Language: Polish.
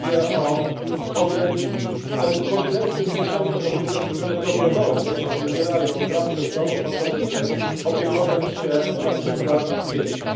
Mówię o kompletnym milczeniu o kobietach, które dobrowolnie wybierają pracę w domu po to, żeby opiekować się na przykład dziećmi.